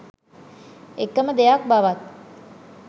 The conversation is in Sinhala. එකම දෙයක් බවත්